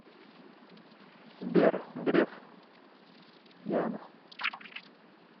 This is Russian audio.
сбер греф яна